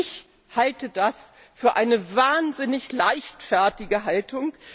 Ich halte das für eine wahnsinnig leichtfertige Haltung.